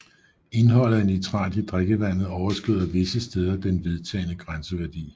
Indholdet af nitrat i drikkevandet overskrider visse steder den vedtagne grænseværdi